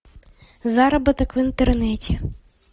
заработок в интернете